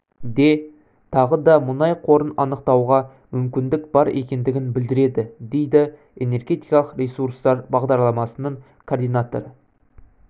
де тағы да мұнай қорын анықтауға мүмкіндік бар екендігін білдіреді дейді энергетикалық ресуртар бағдарламасының координаторы